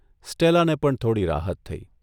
સ્ટેલાને પણ થોડી રાહત થઇ.